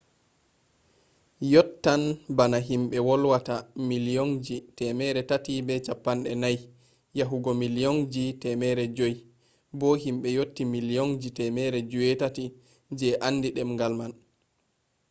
yottan bana himbe volwata milliyonji 340 yahugo milliyonji 500 bo himbe yotti milliyonji 800 je andi demgal man